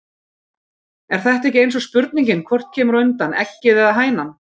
Er þetta ekki eins og spurningin hvort kemur á undan. eggið eða hænan????